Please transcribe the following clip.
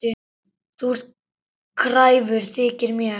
Þú ert kræfur, þykir mér.